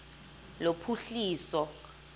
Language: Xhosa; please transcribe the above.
lophuhliso